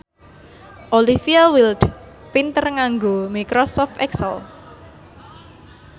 Olivia Wilde pinter nganggo microsoft excel